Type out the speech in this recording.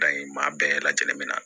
maa bɛɛ lajɛlen bɛ na